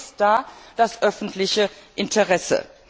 Wo ist da das öffentliche Interesse?